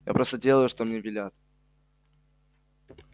я просто делаю что мне велят